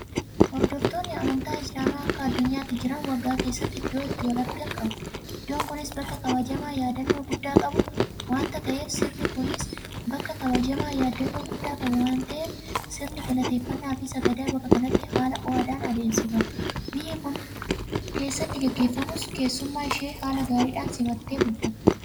Hordoftoonni amantaa Islaamaa akka addunyaatti jiran waggaa keessatti iddoo itti walargan qabu. Idoon kunis bakka kabajamaa yaadannoo guddaa qabu waanta ta'eef sirni galateeffannaafi sagadaa bakka kanatti haala ho'aadhaan adeemsifama. Biyyi kun keessatti gaggeeffamus keessummaa ishee haala gaariidhaan simattee bulfatti.